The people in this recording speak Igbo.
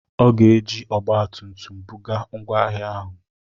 Ọ ga-eji ọgba tum tum buga ngwa ahịa ahụ.